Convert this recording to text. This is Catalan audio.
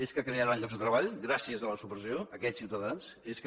és que crearan llocs de treball gràcies a la supressió aquests ciutadans és que